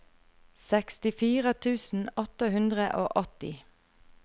sekstifire tusen åtte hundre og åtti